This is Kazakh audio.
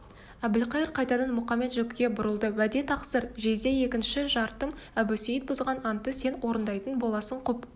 әбілқайыр қайтадан мұқамет-жөкіге бұрылды уәде тақсыр жезде екінші шартым әбусейіт бұзған антты сен орындайтын боласың құп